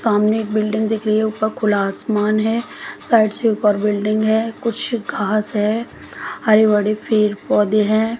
सामने एक बिल्डिंग दिख रही है ऊपर खुला आसमान है साइड से एक और बिल्डिंग है कुछ घास है हरे भरे पेड़ पौधे हैं।